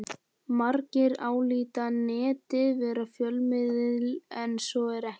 Margir álíta Netið vera fjölmiðil en svo er ekki.